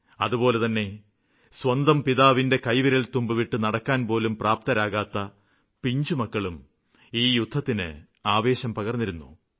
അതുപോലെതന്നെ സ്വന്തം പിതാവിന്റെ കൈവിരല്തുമ്പുവിട്ട് നടക്കാന്പോലും പ്രാപ്തരാകാത്ത പിഞ്ചുമക്കളും ഈ യുദ്ധത്തിന് ആവേശം പകര്ന്നിരുന്നു